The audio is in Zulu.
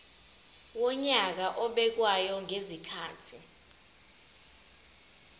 wonyaka obekwayo ngezikhathi